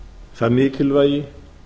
það mikilvægi